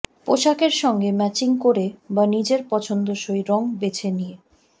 পোশাকের সঙ্গে ম্যাচিং করে বা নিজের পছন্দসই রঙ বেছে নিয়ে